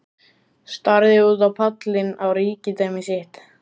Starði út á pallinn, á ríkidæmi sitt.